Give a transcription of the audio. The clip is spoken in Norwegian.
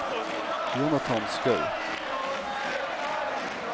Jonathan Skaug